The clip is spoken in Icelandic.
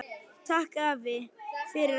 Takk afi, fyrir allt.